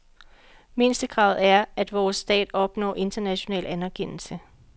Mindstekravet er, at vores stat opnår international anerkendelse.